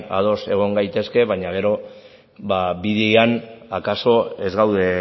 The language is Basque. ados egon gaitezke baina gero bidean akaso ez gaude